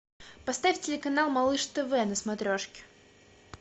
поставь телеканал малыш тв на смотрешке